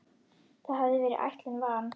Það hafði verið ætlun van